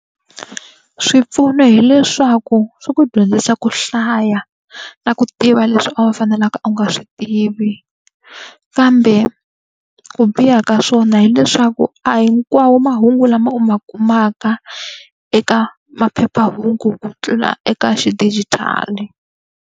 Swipfuno hileswaku swi ku dyondzisa ku hlaya, na ku tiva leswi a wu fanelanga u nga swi tivi. Kambe ku biha ka swona hileswaku a hi hinkwawo mahungu lama u ma kumaka eka maphephahungu ku tlula eka xidijitali.